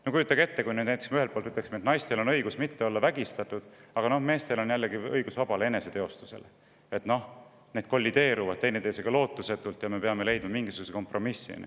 No kujutage ette, kui me näiteks ütleksime, et naistel on õigus olla mitte vägistatud, aga meestel, samas, on õigus vabale eneseteostusele, need kollideeruvad teineteisega lootusetult ja me peame leidma mingisuguse kompromissi.